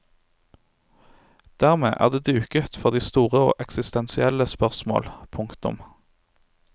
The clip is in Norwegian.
Dermed er det duket for de store og eksistensielle spørsmål. punktum